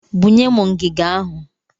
Bunye m ngiga ahụ!